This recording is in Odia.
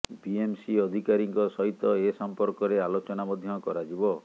ବିଏମ୍ସି ଅଧିକାରୀଙ୍କ ସହିତ ଏ ସଂପର୍କରେ ଆଲୋଚନା ମଧ୍ୟ କରାଯିବ